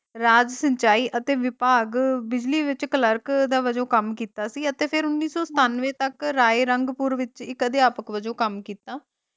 ਰਾਜ ਸਿੰਚਾਈ ਅਤੇ ਵਿਭਾਗ ਬਿਜਲੀ ਵਿਚ ਕਲਰਕ ਦਾ ਵੱਜੋਂ ਕੰਮ ਕੀਤਾ ਸੀ ਅਤੇ ਫਿਰ ਉੱਨੀ ਸੌ ਸੱਤਾਨਵੇ ਤਕ ਰਾਏ ਰੰਗਪੁਰ ਵਿਚ ਇਕ ਅਧਿਆਪਕ ਵੱਜੋਂ ਕੰਮ ਕੀਤਾ।